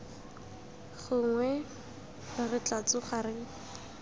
gongwe re tla tsoga re